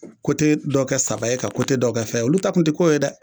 Kote dɔ kɛ saba ye ka kote dɔ kɛ fɛ olu ta kun te k'o ye dɛ